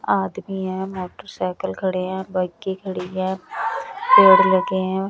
आदमी है मोटरसाइकिल खड़े हैं बाइके खड़ी है पेड़ लगे हैं।